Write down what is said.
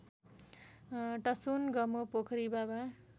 टसोनगमो पोखरी बाबा